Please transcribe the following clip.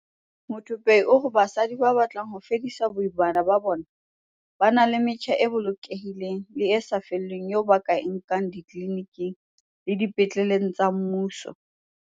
Muthupei o re basadi ba batlang ho fedisa boimana ba bona ba na le metjha e bolokehileng le e sa lefellweng eo ba ka e nkang ditliliniking le dipetleleng tsa mmuso.